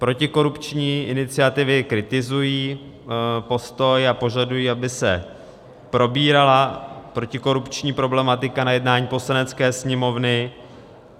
Protikorupční iniciativy kritizují postoj a požadují, aby se probírala protikorupční problematika na jednání Poslanecké sněmovny.